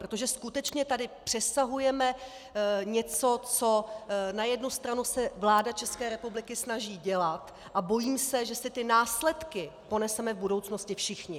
Protože skutečně tady přesahujeme něco, co na jednu stranu se vláda České republiky snaží dělat, a bojím se, že si ty následky poneseme v budoucnosti všichni.